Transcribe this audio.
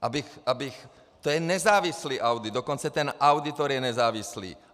To je nezávislý audit, dokonce ten auditor je nezávislý.